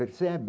Percebe,